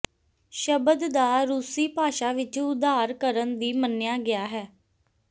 ਸ਼ਬਦ ਦਾ ਰੂਸੀ ਭਾਸ਼ਾ ਵਿੱਚ ਉਧਾਰ ਕਰਨ ਦੀ ਮੰਨਿਆ ਗਿਆ ਹੈ